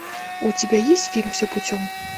у тебя есть фильм все путем